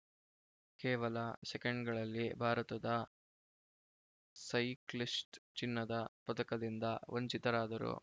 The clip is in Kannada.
ಕೇವಲ ಸೆಕೆಂಡ್‌ಗಳಲ್ಲಿ ಭಾರತದ ಸೈಕ್ಲಿಸ್ಟ್‌ ಚಿನ್ನದ ಪದಕದಿಂದ ವಂಚಿತರಾದರು